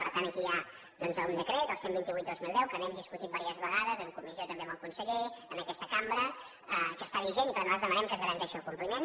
per tant aquí hi ha doncs un decret el cent i vint vuit dos mil deu que n’hem discutit diverses ve·gades en comissió també amb el conseller en aques·ta cambra que està vigent i per tant nosaltres dema·nem que se’n garanteixi el compliment